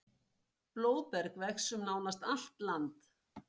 Blóðberg vex um nánast allt land.